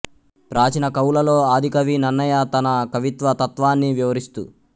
ప్రాచీన కవులలో ఆదికవి నన్నయ తన కవిత్వ తత్వాన్ని వివరిస్తూ